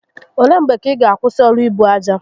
Ole mgbe ka ị ga akwụsị ọrụ ibu aja?